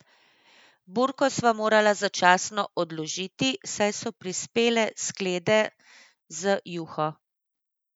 Burko sva morala začasno odložiti, saj so prispele sklede z juho.